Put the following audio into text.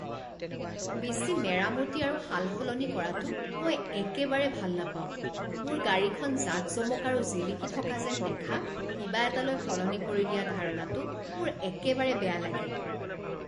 বেছি মেৰামতি আৰু সাল সলনি কৰাটো মই একেবাৰে ভাল নাপাওঁ। মোৰ গাড়ীখন জাকজমক আৰু জিলিকি থকা যেন দেখা কিবা এটালৈ সলনি কৰি দিয়া ধাৰণাটো মোৰ একেবাৰে বেয়া লাগে।